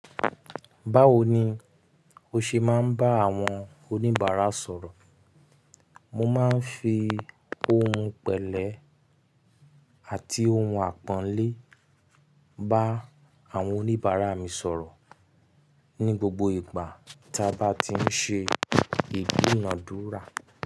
Báwo ni o ṣe máa ń bá àwọn oníbàárà sọ̀rọ̀? Mo máa ń fi ohùn pẹ̀lẹ́ àti ohùn àpọ́nlé bá àwọn oníbàárà mi sọ̀rọ̀ ní gbogbo ìgbà ta bá ti ń ṣe ìduǹádúrà.